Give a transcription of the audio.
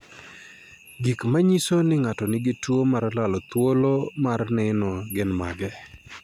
Gik manyiso ni ng'ato nigi tuo mar lalo thuolo mar neno gin mage?